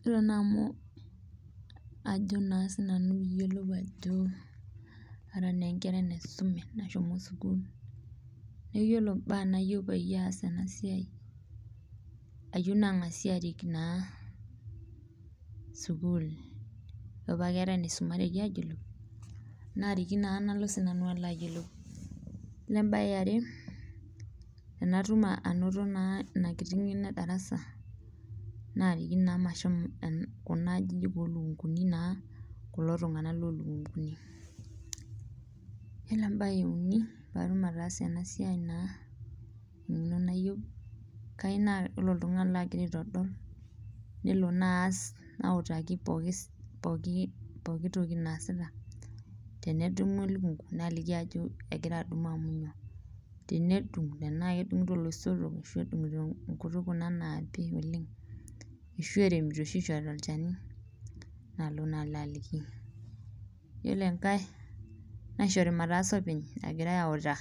Yiolo naa amu ajo sii nanu pe iyiolou ajo kara naa enkerai naisume nashomo naa sukul ,neeku yiolo mbaa nayieu nayiolou pee atumoki ataasa ena siai ,ayieu naangasi arik naa sukul ,ore paa keeta enaisumareki ayiolou ,naariki naa nalo sii nanu alo ayiolou ,yiolo embae eare tenatum naa ina kiti ngeno edarasa ,naariki naa mashomo Kuna ajinik oolunkunkuni naa kulo tunganak lolukunkuni .yiolo embae euni pee atum ataasa ena siai naa engeno nayieu ,kayieu naa ore oltungani lagira aitodol nelo naa aas, nautaki pooki toki naasita ,tenedumu elukunku naliki ajo egira adumu amu kainyoo ,tenedung iloisotok orashu nkutukie Kuna naapi oleng ,ashua eremito eshu eishoritae olchani nalo naa alo aliki. yiolo enkae naishori mataasa openy agira autaa